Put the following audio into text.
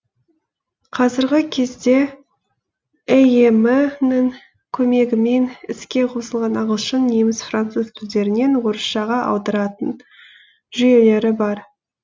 қазіргі кезде эем нің көмегімен іске қосылған ағылшын неміс француз тілдерінен орысшаға аударатын жүйелері бар